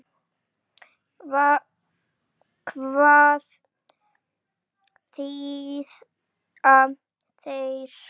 Hvað þýða þær?